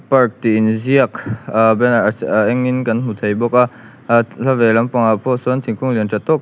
park tih in ziak ah banner a se a eng in kan hmu thei bawk a ah hla ve lampang ah pawh sawn thingkung lian tha tawk--